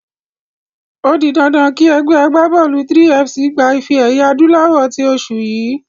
O di dandan kí ẹgbẹ́ agbábọ́ọ̀lù 3FC gba ife-ẹ̀yẹ adúláwọ̀ tí oṣù yìí.